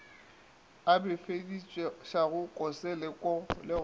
a befedišago kose le go